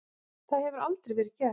Það hefur aldrei verið gert.